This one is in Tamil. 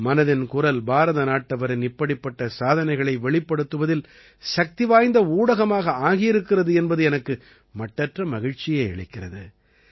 மனதின் குரல் பாரத நாட்டவரின் இப்படிப்பட்ட சாதனைகளை வெளிப்படுத்துவதில் சக்திவாய்ந்த ஊடகமாக ஆகியிருக்கிறது என்பது எனக்கு மட்டற்ற மகிழ்ச்சியை அளிக்கிறது